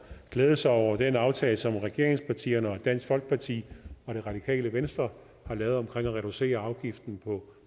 glædede sig over den aftale som regeringspartierne dansk folkeparti og det radikale venstre har lavet om at reducere afgiften på